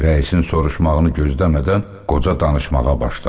Rəisin soruşmağını gözləmədən qoca danışmağa başladı.